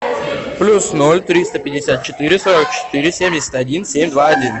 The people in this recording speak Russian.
плюс ноль триста пятьдесят четыре сорок четыре семьдесят один семь два один